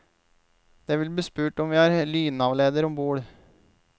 Det blir spurt om vi har lynavleder ombord.